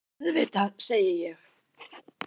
Auðvitað, segi ég.